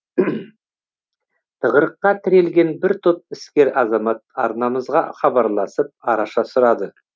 тығырыққа тірелген бір топ іскер азамат арнамызға хабарласып араша сұрады